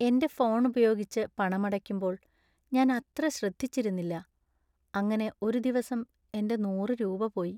എന്‍റെ ഫോൺ ഉപയോഗിച്ച് പണമടയ്ക്കുമ്പോൾ ഞാൻ അത്ര ശ്രദ്ധിച്ചിരുന്നില്ല ,അങ്ങനെ ഒരു ദിവസം എന്‍റെ നൂറ് രൂപ പോയി .